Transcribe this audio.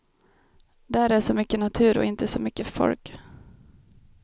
Där är så mycket natur och inte så mycket folk.